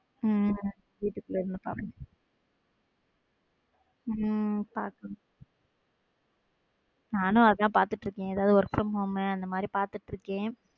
உம் வீட்டுக்குள்ள உம் நானும் அதான் பாத்துட்டு இருக்கேன் எதாவத work from home அந்த மாதிரி பாத்துட்டு இருக்கேன்.